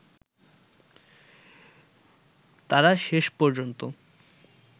তারা শেষ পর্যন্ত